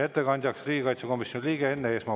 Ettekandjaks palun riigikaitsekomisjoni liikme Enn Eesmaa.